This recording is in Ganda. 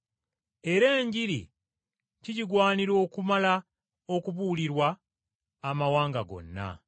Era Enjiri kigigwanira okumala okubuulirwa amawanga gonna.